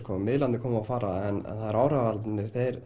miðlarnir koma og fara en áhrifavaldarnir þeir